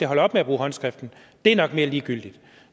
holder op med at bruge håndskrift er nok mere ligegyldigt